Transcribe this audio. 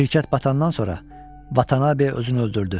Şirkət batandan sonra Vatanabe özünü öldürdü.